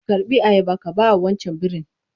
Karɓi ayaba ka bawa wancan birin!